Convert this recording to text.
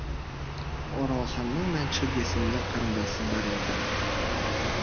оралханның мәншүк есімді қарындасы бар еді